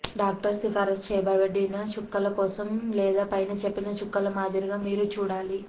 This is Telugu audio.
డాక్టర్ సిఫార్సు చేయబడిన చుక్కల కోసం లేదా పైన చెప్పిన చుక్కల మాదిరిగా మీరు చూడాలి